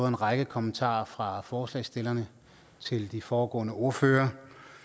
en række kommentarer fra forslagsstillerne til de foregående ordførere